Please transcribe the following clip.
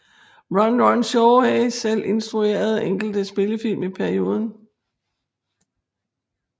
Run Run Shaw hae selv instrueret enkelte spillefilm i perioden